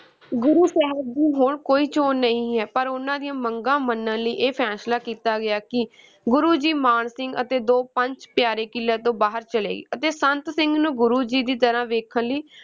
ਗੁਰੂ ਸਾਹਿਬ ਦੀ ਹੁਣ ਕੋਈ ਚੋਣ ਨਹੀਂ ਹੈ ਪਰ ਉਨ੍ਹਾਂ ਦੀਆਂ ਮੰਗਾਂ ਮੰਨਣ ਲਈ ਇਹ ਫੈਸਲਾ ਕੀਤਾ ਗਿਆ ਕਿ ਗੁਰੂ ਜੀ, ਮਾਨ ਸਿੰਘ ਅਤੇ ਦੋ ਪੰਜ ਪਿਆਰੇ ਕਿਲ੍ਹੇ ਤੋਂ ਬਾਹਰ ਚਲੇ ਅਤੇ ਸੰਤ ਸਿੰਘ ਨੂੰ ਗੁਰੂ ਜੀ ਦੀ ਤਰ੍ਹਾਂ ਵੇਖਣ ਲਈ